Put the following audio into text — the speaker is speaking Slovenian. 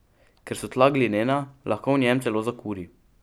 Ker so tla glinena, lahko v njem celo zakuri.